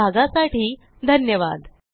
सहभागासाठी धन्यवाद